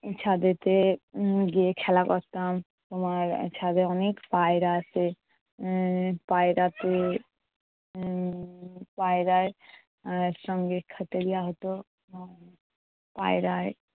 ছাদেতে গিয়ে খেলা করতাম উম তোমার ছাদে অনেক পায়রা আছে। আহ পায়রাতে আহ পায়রার এর সঙ্গে হতো। আহ পায়রায়